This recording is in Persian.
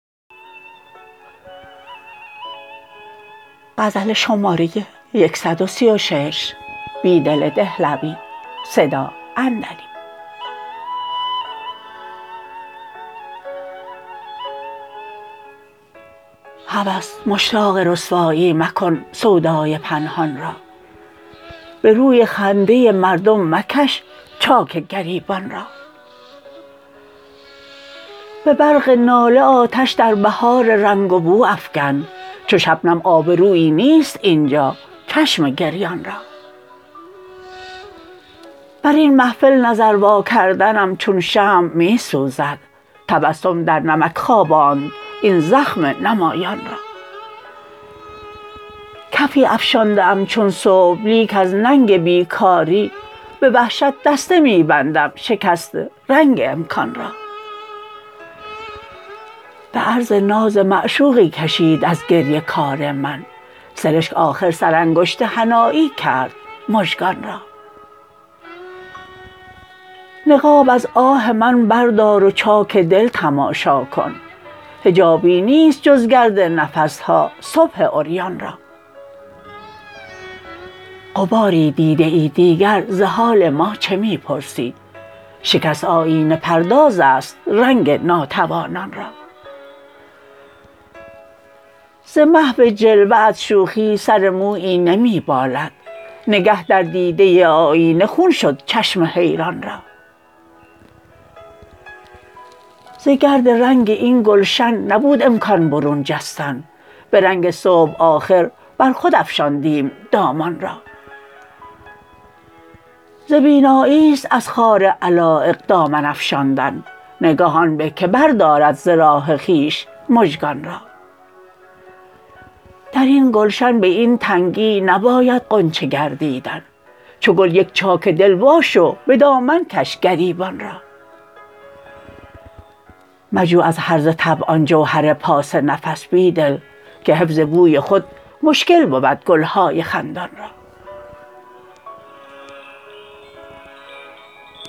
هوس مشتاق رسوایی مکن سودای پنهان را به روی خنده مردم مکش چاک گریبان را به برق ناله آتش در بهار رنگ و بو افکن چو شبنم آبرویی نیست اینجا چشم گریان را براین محفل نظر واکردنم چون شمع می سوزد تبسم در نمک خواباند این زخم نمایان را کفی افشانده ام چون صبح لیک از ننگ بیکاری به وحشت دسته می بندم شکست رنگ امکان را به عرض ناز معشوقی کشید ازگریه کار من سرشک آخر سرانگشت حنایی کرد مژگان را نقاب از آه من بردار و چاک دل تماشاکن حجابی نیست جزگرد نفسها صبح عریان را غباری دیده ای دیگر ز حال ما چه می پرسی شکست آیینه پرداز است رنگ ناتوانان را ز محو جلوه ات شوخی سر مویی نمی بالد نگه در دیده آیینه خون شد چشم حیران را زگرد رنگ این گلشن نبود مکان برون جستن به رنگ صبح آخر بر خود افشاندیم دامان را ز بینایی ست از خار علایق دامن فشاندن نگاه آن به که بردارد ز ره خویش مژگان را درین گلشن به این تنگی نباید غنچه گردیدن چوگل یک چاک دل واشو به دامن کش گریبان را مجو از هرزه طبعان جوهر پاس نفس بیدل که حفظ بوی خود مشکل بودگلهای خندان را